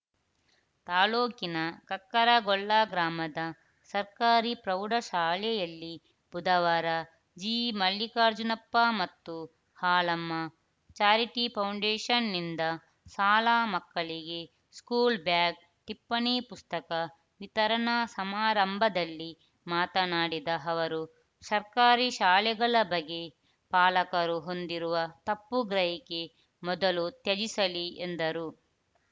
ತಾಲೂಕಿನ ಕಕ್ಕರಗೊಳ್ಳ ಗ್ರಾಮದ ಸರ್ಕಾರಿ ಪ್ರೌಢಶಾಲೆಯಲ್ಲಿ ಬುಧವಾರ ಜಿಮಲ್ಲಿಕಾರ್ಜುನಪ್ಪ ಮತ್ತು ಹಾಲಮ್ಮ ಚಾರಿಟಿ ಫೌಂಡೇಷನ್‌ನಿಂದ ಶಾಲಾ ಮಕ್ಕಳಿಗೆ ಸ್ಕೂಲ್‌ ಬ್ಯಾಗ್‌ ಟಿಪ್ಪಣಿ ಪುಸ್ತಕ ವಿತರಣಾ ಸಮಾರಂಭದಲ್ಲಿ ಮಾತನಾಡಿದ ಅವರು ಸರ್ಕಾರಿ ಶಾಲೆಗಳ ಬಗ್ಗೆ ಪಾಲಕರು ಹೊಂದಿರುವ ತಪ್ಪು ಗ್ರಹಿಕೆ ಮೊದಲು ತ್ಯಜಿಸಲಿ ಎಂದರು